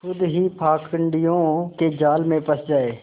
खुद ही पाखंडियों के जाल में फँस जाए